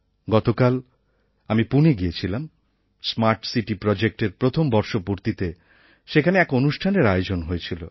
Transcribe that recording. গতকাল আমি পুনে গিয়েছিলাম স্মার্ট সিটি প্রজেক্টএর প্রথম বর্ষপূর্তিতে সেখানে এক অনুষ্ঠানের আয়োজন হয়েছিল